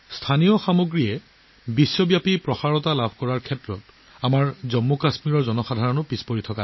আমাৰ জম্মু কাশ্মীৰৰ লোকসকল স্থানীয় সামগ্ৰীক বিশ্বজনীন কৰি তোলাৰ ক্ষেত্ৰত বহু পিছ পৰি থকা নাই